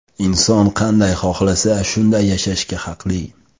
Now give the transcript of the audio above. Inson qanday xohlasa, shunday yashashga haqli.